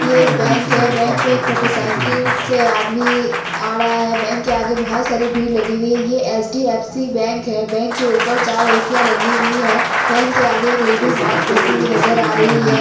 ये एक बैंक है बैंक में एक मोटर साइकिल से आदमी आ ड़ा है| बैंक के आगे बहुत सारी भीड़ लगी हुई है| ये एच_डी_एफ_सी बैंक है| बैंक के ऊपर चार एस_सी याँ लगी हुई है| बैंक के आगे एक लेडीज बात करती हुई नजर आ रही है।